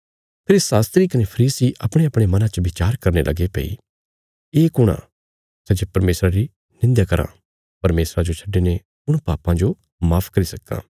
फेरी शास्त्री कने फरीसी अपणेअपणे मनां च बिचार करने लगे भई ये कुण आ सै जे परमेशरा री निंध्या कराँ परमेशरा जो छड्डिने कुण पापां जो माफ करी सक्कां